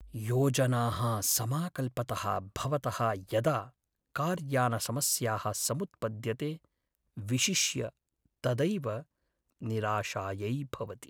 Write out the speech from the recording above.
योजनाः समाकल्पतः भवतः यदा कार्यानसमस्याः समुत्पद्यन्ते विशिष्य तदैव निराशायै भवति।